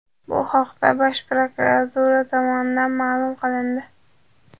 Bu haqda Bosh prokuratura tomonidan ma’lum qilindi .